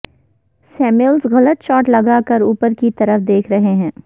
Samuels غلط shot لگا کر اوپر کی طرف دیکھ رہے ہیں